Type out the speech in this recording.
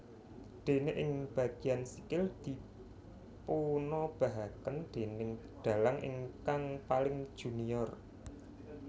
Déné ing bageyan sikil dipunobahaken déning dalang ingkang paling junior